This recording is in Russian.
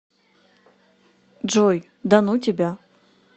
джой да ну тебя